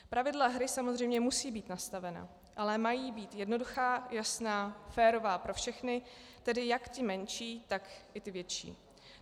Pravidla hry samozřejmě musí být nastavena, ale mají být jednoduchá, jasná, férová pro všechny, tedy jak ty menší, tak i ty větší.